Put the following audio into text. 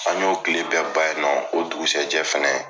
An y'o kile bɛ ban ye nɔ o dugusajɛ fɛnɛ